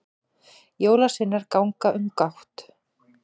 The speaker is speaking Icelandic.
jólasveinar ganga um gátt